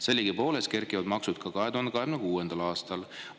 Sellegipoolest kerkivad maksud ka 2026. aastal.